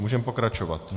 Můžeme pokračovat.